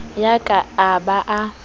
ya ka a ba a